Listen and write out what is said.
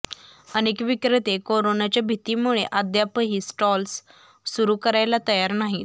अनेक विक्रेते कोरोनाच्या भीतीमुळे अद्यापही स्टॉल्स सुरू करायला तयार नाहीत